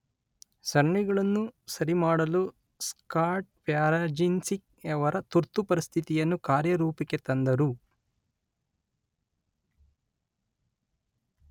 ಸರಣಿಗಳನ್ನು ಸರಿಮಾಡಲು ಸ್ಕಾಟ್ ಪ್ಯಾರಜಿನ್ಸ್ಕಿಯವರು ತುರ್ತುಪರಿಸ್ಥಿತಿ ಯನ್ನು ಕಾರ್ಯರೂಪಕ್ಕೆ ತಂದರು.